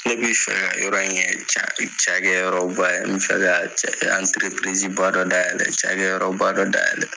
Ne bɛ fɛ ka yɔrɔ in kɛ cakɛyɔrɔba ye n bɛ fɛ ka ba dɔ dayɛlɛn cakɛyɔrɔba dɔ dayɛlɛn